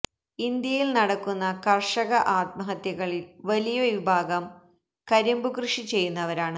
ഇന്ത്യയില് നടക്കുന്ന കര്ഷക ആത്മഹത്യകളില് വലിയ വിഭാഗം കരിമ്പു കൃഷി ചെയ്യുന്നവരാണ്